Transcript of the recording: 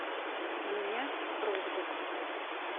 у меня просьба к вам